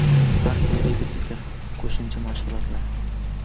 Har kuni repetitor, qo‘shimcha mashg‘ulotlar.